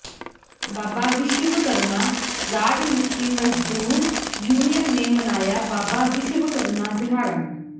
ਬਾਬਾ ਵਿਸ਼ਵਕਰਮਾ ਰਾਜ ਮਿਸਤਰੀ ਮਜ਼ਦੂਰ ਯੂਨੀਅਨ ਨੇ ਮਨਾਇਆ ਬਾਬਾ ਵਿਸ਼ਵਕਰਮਾ ਦਿਹਾੜਾ